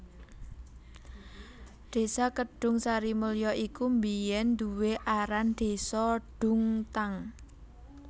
Desa Kedungsarimulyo iku biyèn duwé aran Désa Dungtang